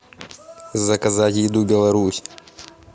заказать еду беларусь